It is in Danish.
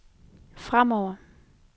fremover